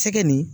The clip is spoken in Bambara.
Sɛgɛn nin